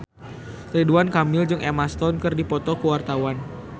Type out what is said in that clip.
Ridwan Kamil jeung Emma Stone keur dipoto ku wartawan